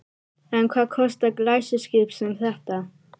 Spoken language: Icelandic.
En hvað kostar glæsiskip sem þetta?